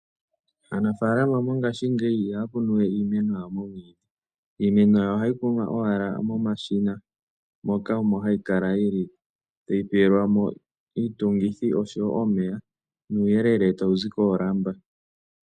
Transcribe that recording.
Aanafaalama mongashingeyi ihaya kunu we iimeno yawo mevi, ohayi kunwa owala momashina moka omo hayi kala yi li tayi pelwa mo iitungithi osho wo omeya, nuuyelele tawu zi koolamba.